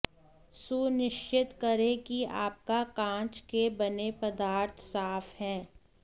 सुनिश्चित करें कि आपका कांच के बने पदार्थ साफ हैं